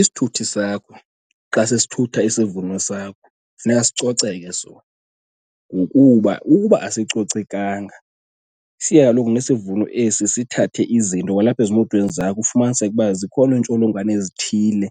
Isithuthi sakho xa sesithutha isivuno sakho funeka sicoceke sona ngokuba ukuba asicocekanga, siye kaloku nesivuno esi sithathe izinto kwalapha ezimotweni zakho ufumaniseke ukuba zikhona iintsholongwane ezithile